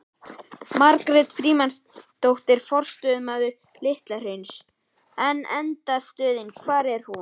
Margrét Frímannsdóttir, forstöðumaður Litla hrauns: En endastöðin, hvar er hún?